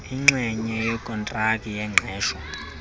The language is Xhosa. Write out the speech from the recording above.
inxenye yokontraki yengqesho